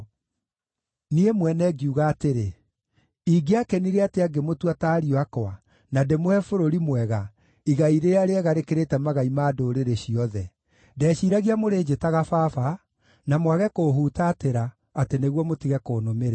“Niĩ mwene ngiuga atĩrĩ, “ ‘Ingĩakenire atĩa ngĩmũtua ta ariũ akwa, na ndĩmũhe bũrũri mwega, igai rĩrĩa rĩega rĩkĩrĩte magai ma ndũrĩrĩ ciothe.’ Ndeciiragia mũrĩnjĩtaga ‘Baba’ na mwage kũũhutatĩra nĩguo mũtige kũnũmĩrĩra.